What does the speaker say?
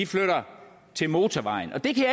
flytter til motorvejen og det kan